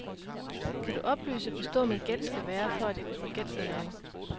Kan du oplyse, hvor stor min gæld skal være, for at jeg kan få gældssanering?